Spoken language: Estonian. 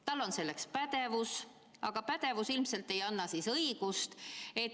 Tal on selleks pädevus, aga pädevus ilmselt ei anna seda õigust.